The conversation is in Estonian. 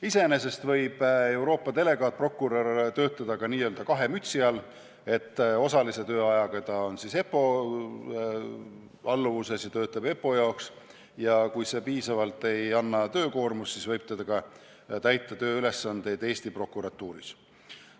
Iseenesest võib Euroopa delegaatprokurör töötada ka n-ö kahe mütsi all, osalise tööajaga EPPO alluvuses ja töötada EPPO jaoks, ja kui see ei anna piisavat töökoormust, siis võib ta täita tööülesandeid ka Eesti prokuratuuris.